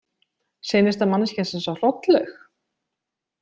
Seinasta manneskjan sem sá Hrollaug?